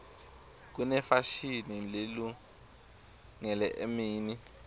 kunefashini lelungele emini